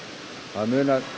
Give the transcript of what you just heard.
það munar